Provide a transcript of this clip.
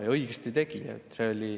Ja õigesti tegi.